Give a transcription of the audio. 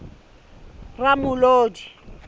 ramolodi